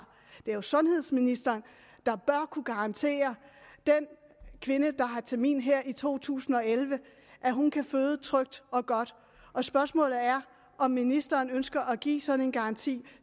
det er jo sundhedsministeren der bør kunne garantere den kvinde der har termin her i to tusind og elleve at hun kan føde trygt og godt og spørgsmålet er om ministeren ønsker at give sådan en garanti